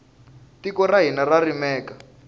tiko ra hina ra rimeka